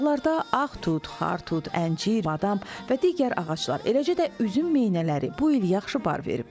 Bağlarda ağ tut, xar tut, əncir, badam və digər ağaclar, eləcə də üzüm minələri bu il yaxşı bar verib.